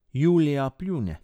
Julija pljune.